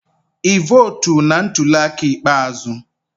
Ị votu na ntuli aka ikpeazụ?